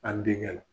An denkɛ